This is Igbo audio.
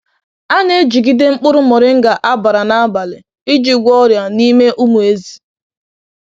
A na-ejigide mkpụrụ moringa á bàrà n’abalị iji gwọọ ọrịa n’ime ụmụ ezi.